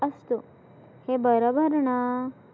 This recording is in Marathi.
असतो हे बरोबर ना?